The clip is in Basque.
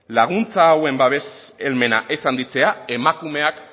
laguntza hauen babes helmena ez handitzeak emakumeak